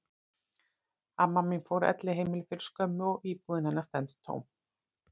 Amma mín fór á elliheimili fyrir skömmu og íbúðin hennar stendur tóm.